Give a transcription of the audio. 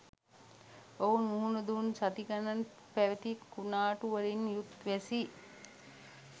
ඔවුන් මුහුණ දුන් සති ගණන් පැවති කුණාටු වලින් යුත් වැසි